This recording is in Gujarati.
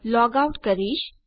હું લોગ આઉટ કરીશ